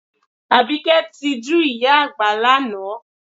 Àbíkẹ́ tijú ìyá àgbà lánàá